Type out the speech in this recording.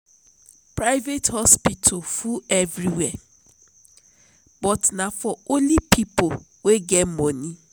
private hospital full everywhere but na only for pipo wey get moni.